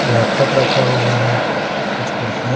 laptop राखा हुआ है कुछ कुर्सियाँ--